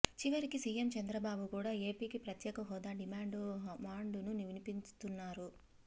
చివరికి సీఎం చంద్రబాబు కూడా ఏపీకి ప్రత్యేక హోదా డిమాండ్ మాండును వినిపిస్తున్నారు